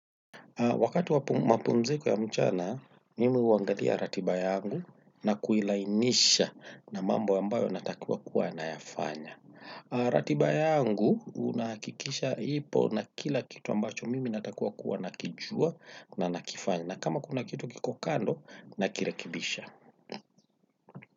Wakati wa mapumziko ya mchana, mimi huangalia ratiba yangu na kuilainisha na mambo ambayo natakiwa kuyafanya. Ratiba yangu, nahakikisha ipo na kila kitu ambacho mimi natakiwa kuwa nakijua na nakifanya. Na kama kuna kitu kiko kando, nakirekebisha.